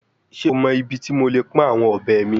Ṣe o mọ ibiti mo le pọn awọn ọbẹ mi?